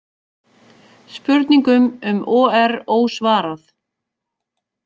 Spurningum um OR ósvarað